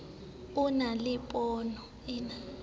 o na le pono e